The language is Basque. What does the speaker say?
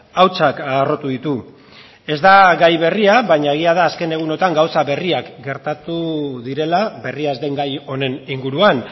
hautsak harrotu ditu ez da gai berria baina egia da azken egunotan gauza berriak gertatu direla berria ez den gai honen inguruan